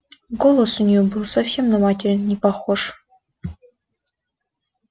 голос у неё был совсем на материн не похож